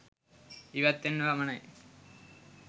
ඉවත් වෙන්න පමණයි